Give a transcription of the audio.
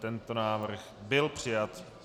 Tento návrh byl přijat.